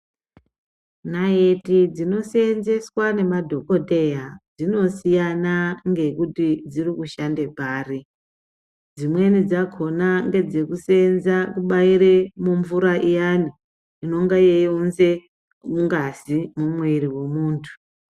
Nayithi dzinosenzeswa nemadhokoteya , dzinosiyana ngekuti dzirikushande pari. Dzimweni dzakhona, ndedzekusenza kubayire mumvura iyani, inonga eyiwunze ngazi mwiri womunthu.